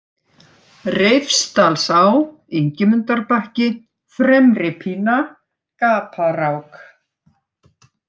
Reifsdalsá, Ingimundarbakki, Fremripína, Gaparák